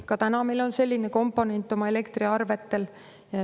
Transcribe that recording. Ka praegu meil on selline komponent meie elektriarvetel.